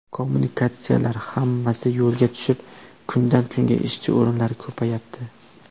Kommunikatsiyalar hammasi yo‘lga tushib, kundan-kunga ishchi o‘rinlari ko‘payapti.